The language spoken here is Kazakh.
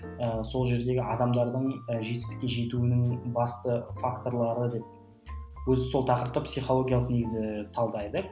ы сол жердегі адамдардың ы жетістікке жетуінің басты факторлары деп өзі сол тақырыпты психологиялық негізі талдайды